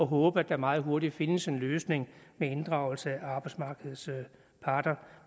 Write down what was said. håber at der meget hurtigt findes en løsning med inddragelse af arbejdsmarkedets parter